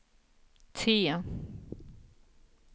T